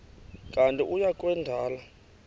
kanti uia kwendela